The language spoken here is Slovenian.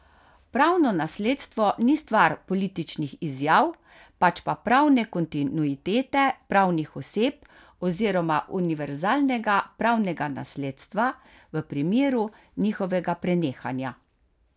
Pravno nasledstvo ni stvar političnih izjav, pač pa pravne kontinuitete pravnih oseb oziroma univerzalnega pravnega nasledstva v primeru njihovega prenehanja.